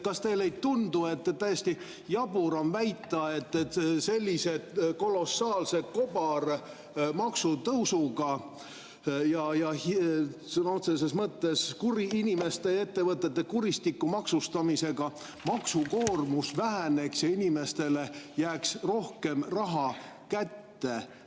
Kas teile ei tundu, et täiesti jabur on väita, et selliste kolossaalsete kobarmaksutõusudega ja sõna otseses mõttes inimeste ja ettevõtete kuristikku maksustamisega maksukoormus väheneb ja inimestele jääb rohkem raha kätte?